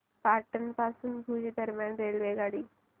पाटण पासून भुज दरम्यान रेल्वेगाडी